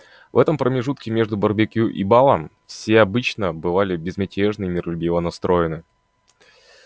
в этом промежутке между барбекю и балом все обычно бывали безмятежно и миролюбиво настроены